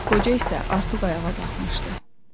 Qoca isə artıq ayağa qalxmışdı.